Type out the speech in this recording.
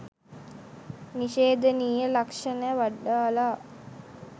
නිශේධනීය ලක්ෂණ වඩාලා